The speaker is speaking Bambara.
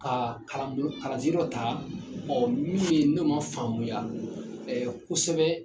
Ka kalanbolo kalansen dɔ ta min ye n'o man faamuya kosɛbɛ.